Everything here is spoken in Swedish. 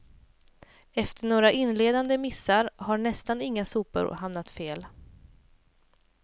Efter några inledande missar har nästan inga sopor hamnat fel.